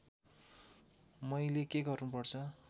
मैले के गर्नुपर्छ